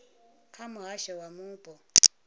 kha muhasho wa zwa mupo